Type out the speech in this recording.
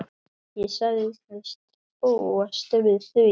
Ég sagðist búast við því.